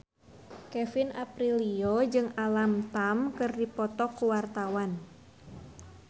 Kevin Aprilio jeung Alam Tam keur dipoto ku wartawan